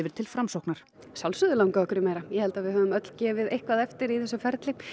til Framsóknar að sjálfsögðu langaði okkur í meira ég held að við höfum öll gefið eitthvað eftir í þessu ferli